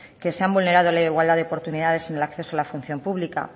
que se han vulnerado la igualdad de oportunidades en el acceso a la función pública